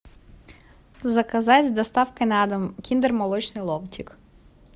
заказать с доставкой на дом киндер молочный ломтик